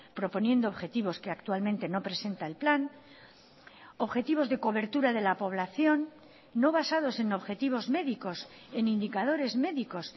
proponiendo objetivos que actualmente no presenta el plan objetivos de cobertura de la población no basados en objetivos médicos en indicadores médicos